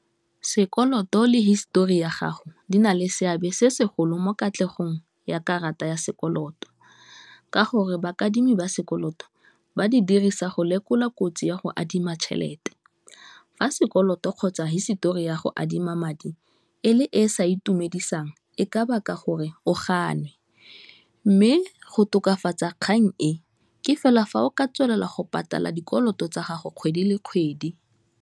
Sekoloto le history ya gago di na le seabe se segolo mo katlegong ya karata ya sekoloto, ka gore baadimi ba sekoloto ba di dirisa go lekola kotsi ya go adima tšhelete, fa sekoloto kgotsa hisetori ya go adima madi e le e sa itumedisang, e ka baka gore o ganwe, mme go tokafatsa kgang e ke fela fa o ka tswelela go patala dikoloto tsa gago kgwedi le kgwedi.